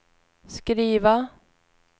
skriva